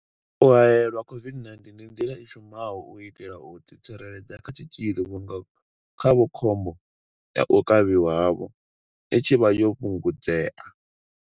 U haelelwa COVID-19 ndi nḓila i shumaho u itela u ḓitsireledza kha tshitzhili vhunga khavho khombo ya u kavhiwa havho i tshi vha yo fhungudzea.